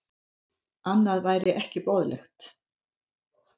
Annað væri ekki boðlegt